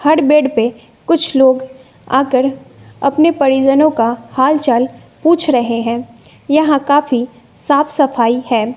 हर bed पे कुछ लोग आकर अपने परिजनों का हाल चाल पूछ रहे है यहां काफी साफ सफाई है।